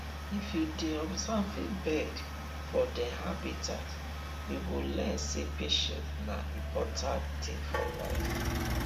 if you dey observing birds for dem habitat you go learn sey patience na important thing for life